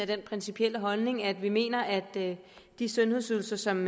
den principielle holdning at vi mener at de sundhedsydelser som